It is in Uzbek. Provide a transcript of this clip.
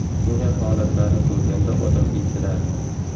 Shunday holatlarni ko‘rganda odam eziladi.